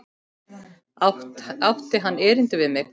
Átti hann erindi við mig?